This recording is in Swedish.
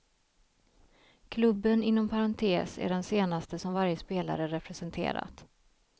Klubben inom parentes är den senaste som varje spelare representerat.